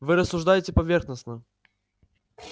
вы рассуждаете поверхностно